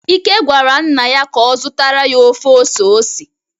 ike gwara nna ya ka o zutara ya ofe ose ose